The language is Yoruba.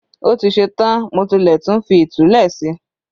Ó ti ṣe tán, mo tilẹ̀ tún ti fi ìtulẹ̀ si